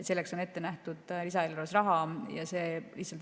Selleks on ette nähtud lisaeelarves raha.